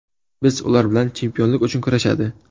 Biz ular bilan chempionlik uchun kurashadi.